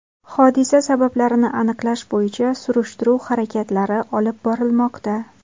Hodisa sabablarini aniqlash bo‘yicha surishtiruv harakatlari olib borilmoqda.